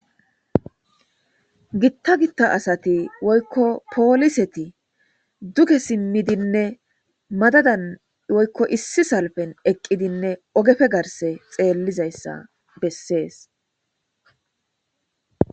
gitta gitta asati woykko pooliseti duge simmidinne madadan woykko issi salfen eqqidinne ogefe garse xeellizayssa bessees